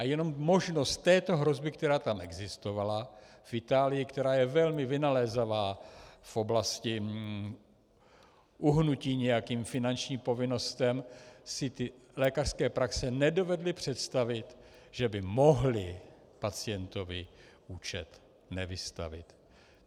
A jenom možnost této hrozby, která tam existovala, v Itálii, která je velmi vynalézavá v oblasti uhnutí nějakým finančním povinnostem, si ty lékařské praxe nedovedly představit, že by mohly pacientovi účet nevystavit.